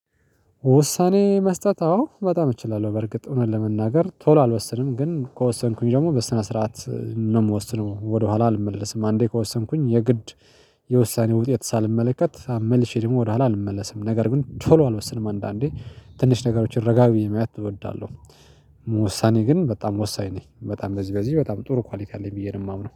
ውሳኔ መስጠት አዎ በጣም እችላለሁ በርግጥ እውነት ለመናገር ቶሎ አልወሰንም ግን ከወሰንኩኝ ደግሞ በስነ ስርዓት ነው የምወስነው ወደኋላ አልመለስም አንዴ ከወሰንኩኝ የግድ የውሳኔ ውጤት ሳልመለከት መልሼ ደግሞ ወደኋላ አልመለስም። ነገር ግን ቶሎ አልወስንም አንዳንዴ ትንሽ ነገሮችን ረጋቢ የመያት እወዳለሁ። ውሳኔ ግን በጣም ወሳኝ ነኝ በጣም በዚህ በዚህ በጣም ጥሩ ኳሊቲ አለኝ ብዬ ነው የማምነው